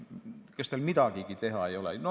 Kas teil midagigi ei ole vaja teha?